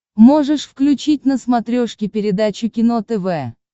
можешь включить на смотрешке передачу кино тв